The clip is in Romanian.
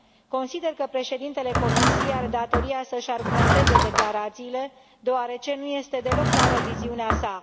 Consider că președintele Comisiei are datoria să își argumenteze declarațiile deoarece nu este deloc clară viziunea sa.